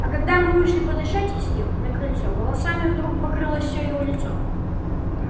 а когда мы вышли подышать с ним на крыльцо волосами вдруг покрылось всё его лицо